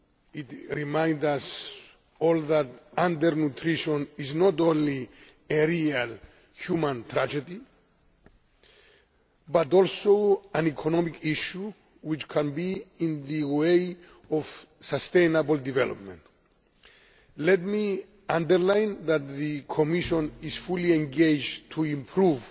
It reminds us all that undernutrition is not only a real human tragedy but also an economic issue which can be in the way of sustainable development. Let me underline that the Commission is fully engaged to improve